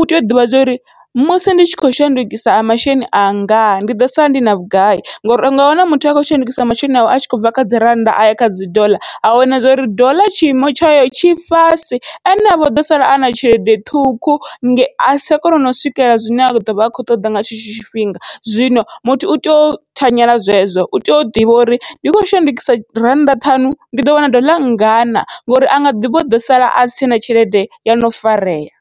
utea u ḓivha zwori musi ndi tshi khou shandukisa masheleni anga ndi ḓo sala ndi na vhugai, ngori unga wana muthu akho shandukisa masheleni awe atshi khou bva kha dzi rannda aya kha dzi doḽa a wana zwori doḽa tshiimo tshayo tshi fhasi ene avho ḓo sala ana tshelede ṱhukhu asi tsha kona nau swikelela zwine a ḓovha a kho ṱoda nga tshetsho tshifhinga. Zwino muthu utea u thanyela zwezwo utea u ḓivha uri ndi khou shandukisa rannda ṱhanu ndi ḓo wana ḓoḽa nngana ngori anga ḓivha uḓo sala asi tshena tshelede yono farea.